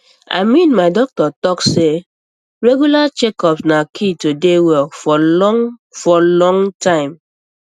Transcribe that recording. i mean my doctor talk say regular checkups na key to dey well for long for long time